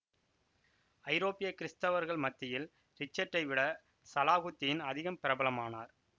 ஐரோப்பிய கிறித்தவர்கள் மத்தியில் ரிச்சர்ட்டை விட சலாகுத்தீன் அதிகம் பிரபலமானார்